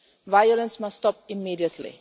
Violence must stop immediately.